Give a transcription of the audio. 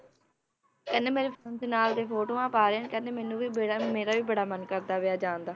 ਕਹਿੰਦੇ ਮੇਰੇ ਨਾਲ ਦੇ ਫੋਟੋਆਂ ਪਾ ਰਹੇ ਨੇ ਕਹਿੰਦੇ ਮੈਨੂੰ ਵੀ ਬੜਾ ਮੇਰਾ ਵੀ ਬੜਾ ਮਨ ਕਰਦਾ ਪਿਆ ਹੈ ਜਾਣ ਦਾ।